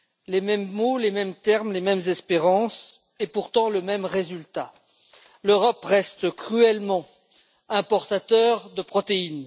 Les mêmes mots, les mêmes termes, les mêmes espérances, et pourtant le même résultat l'Europe reste cruellement importatrice de protéines.